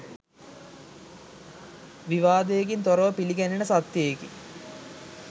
විවාදයකින් තොරව පිළිගැනෙන සත්‍යයකි.